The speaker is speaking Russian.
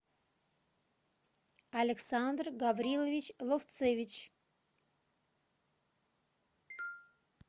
александр гаврилович ловцевич